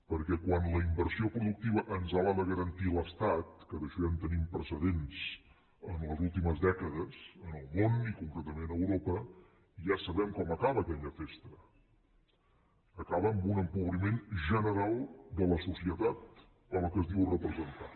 perquè quan la inversió productiva ens l’ha de garantir l’estat que d’això ja en tenim precedents en les últimes dècades en el món i concretament a europa ja sabem com acaba aquella festa acaba amb un empobriment general de la societat a la qual es diu representar